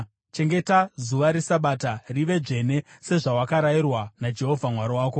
Chengeta zuva reSabata rive dzvene, sezvawakarayirwa naJehovha Mwari wako.